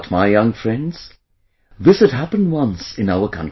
But my young friends, this had happened once in our country